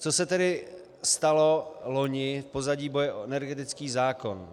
Co se tedy stalo loni v pozadí boje o energetický zákon?